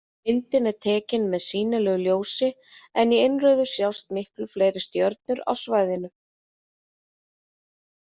Myndin er tekin með sýnilegu ljósi en í innrauðu sjást miklu fleiri stjörnur á svæðinu.